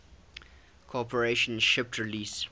corporation shipped release